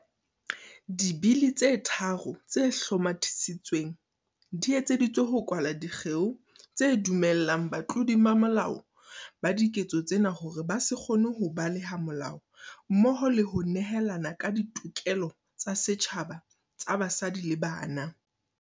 Dibili tse tharo tse hlomathi-sitsweng di etseditswe ho kwala dikgeo tse dumellang batlodi ba molao ba diketso tsena hore ba se kgone ho baleha molao mmoho le ho nehelana ka ditokelo tsa setjhaba tsa basadi le bana.